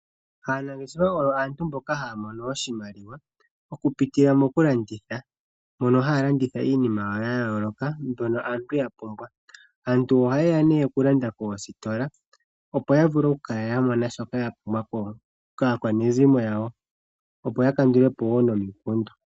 Aanangeshefa oyo aantu mboka haya mono oshimaliwa okupitila mokulanditha, mono haya landitha iinima yayooloka mbyono aantu yapumbwa. Aantu ohayeya yalande okulanda koositola opo yapumbwa okukala yapumbwa shoka yapumbwa kaakwanezimo yawo opo yakandulepo wo nomikundu.